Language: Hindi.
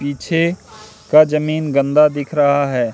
पीछे का जमीन गंदा दिख रहा है।